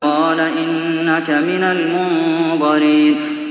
قَالَ إِنَّكَ مِنَ الْمُنظَرِينَ